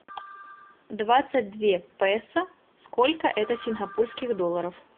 двадцать две песо сколько это сингапурских долларов